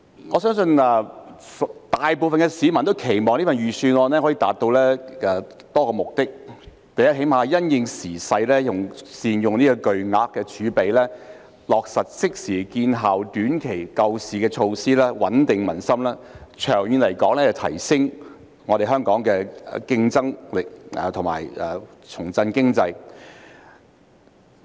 我相信大部分市民均期望，這份財政預算案可以達到多個目的，最低限度也會因應時勢，善用這筆巨額儲備，落實即時見效的短期救市措施，穩定民心，長遠而言提升香港的競爭力，重振經濟。